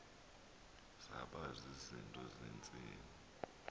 zaba zizinto zentsini